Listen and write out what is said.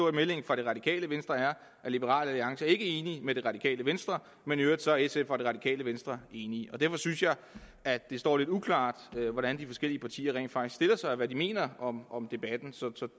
at meldingen fra det radikale venstre er at liberal alliance ikke er enig med det radikale venstre men i øvrigt så er sf og det radikale venstre enige derfor synes jeg at det står lidt uklart hvordan de forskellige partier rent faktisk stiller sig og hvad de mener om om debatten så